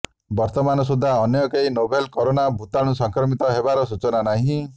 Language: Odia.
ବର୍ତମାନ ସୁଦ୍ଧା ଅନ୍ୟ କେହି ନୋଭେଲ କରୋନା ଭୂତାଣୁ ସଂକ୍ରମିତ ହେବାର ସୂଚନା ନାହିଁ